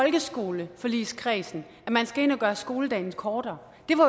folkeskoleforligskredsen man skal ind at gøre skoledagen kortere det